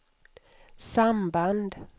samband